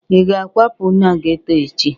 Ị ga-akwapu n'geto echi?